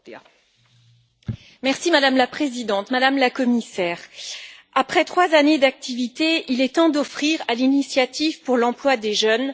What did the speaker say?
Madame la Présidente, Madame la Commissaire, après trois années d'activité, il est temps d'offrir à l'initiative pour l'emploi des jeunes un bilan de santé.